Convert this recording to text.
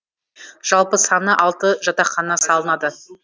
жалпы саны алты жатақхана салынады